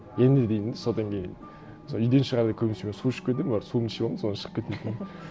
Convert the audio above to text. енді деймін де содан кейін сол үйден шығарда көбінесе мен су ішіп кетемін барып суымды ішіп аламын содан шығып кетуім мүмкін